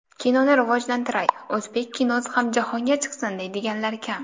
Kinoni rivojlantiray, o‘zbek kinosi ham jahonga chiqsin, deydiganlar kam”.